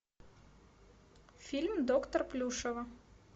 фильм доктор плюшева